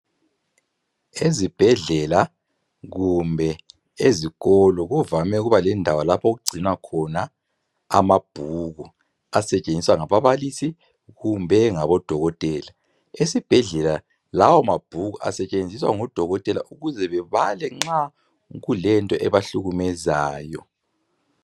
Ezibhedlela kumbe ezikolo kuvame ukuba lendawo lapho okugcinwa khona amabhuku asetshenziswa ngababalisi kumbe ngabodokotela, esibhedlela lawo mabhuku asetshenziswa ngodokotela ukuze bebale nxa kulento ebahlukumezayo.